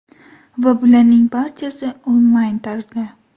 Va bularning barchasi – onlayn tarzda.